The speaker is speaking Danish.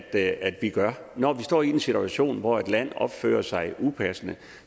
det vi gør når vi står i en situation hvor et land opfører sig upassende